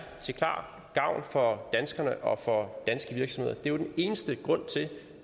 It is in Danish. til gavn for danskerne og for danske virksomheder det er jo den eneste grund til